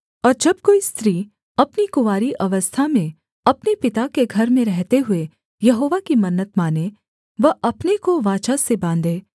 और जब कोई स्त्री अपनी कुँवारी अवस्था में अपने पिता के घर में रहते हुए यहोवा की मन्नत माने व अपने को वाचा से बाँधे